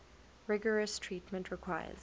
rigorous treatment requires